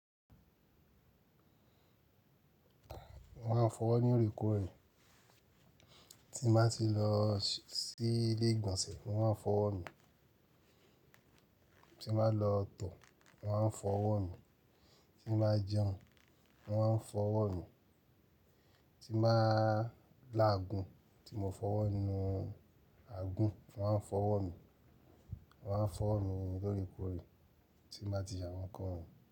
Mo máa ń fọwọ́ ní orekoore tí n bá ti lo sí ilé ìgbọ̀nsẹ̀, mo máa ń fọwọ́ mi, tí n bá lọ tọ̀, mo máa ń fọwọ́ mi, tí n bá jẹun mo máa ń fọwọ́ mi, tí n bá lágun tí mo fọwọ́ ni àgún mo máa ń fọwọ́ mi. Mo máa ń fọwọ́ mi lóòrèkóòrè tí n bá ti se awọn kán won yiin.